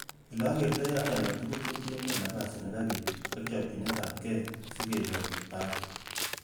Ele okertoi ane kotugul kotienge napasi nekabit, ak chopchinetab gee si kenyor baati.